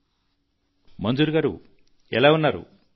ప్రధాన మంత్రి గారు మంజూర్ గారూ ఎలా ఉన్నారు